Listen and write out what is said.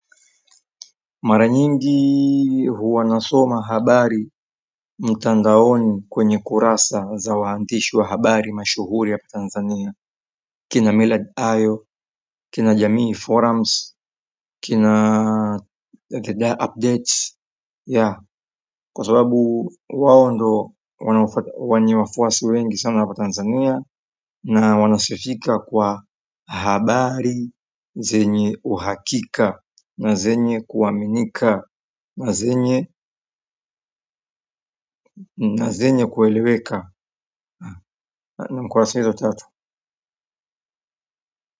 Mara nyingi huwa nasoma habari mtandaoni kwenye kurasa za wandishi wa habari mashuhuri hapa Tanzania kina milad ayo, kina jamii forums, kina veda updates ya, kwa sababu wao ndo wana wenye wafuasi wengi sana hapa Tanzania na wanasifika kwa habari zenye uhakika na zenye kuaminika na zenye na zinye kueleweka ni kurasa hizo tatu.